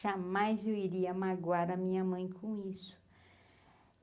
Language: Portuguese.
Jamais eu iria magoar a minha mãe com isso.